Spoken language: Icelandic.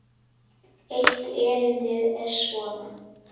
Eitt erindið er svona